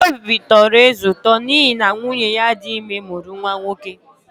Obi tọrọ eze ụtọ n’ihi na nwunye ya dị ime mụrụ nwa nwoke.